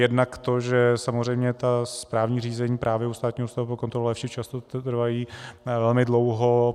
Jednak to, že samozřejmě ta správní řízení právě u Státního ústavu pro kontrolu léčiv často trvají velmi dlouho.